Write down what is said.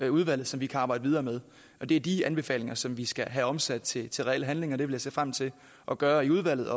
udvalget som vi kan arbejde videre med og det er de anbefalinger som vi skal have omsat til til reel handling og det vil jeg se frem til at gøre i udvalget